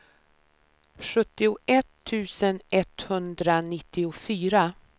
sjuttioett tusen etthundranittiofyra